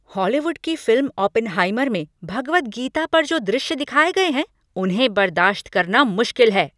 Hollywood की film 'Oppenheimer' में भगवद गीता पर जो दृश्य दिखाये गए हैं उन्हें बर्दाश्त करना मुश्किल है।